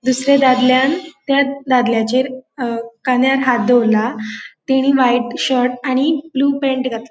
दुसर्या दादल्यांन त्या दादल्याचेर अ कान्यार हाथ दोवोरला तेणे व्हाइट शर्ट आणि ब्लू पैन्ट घात ----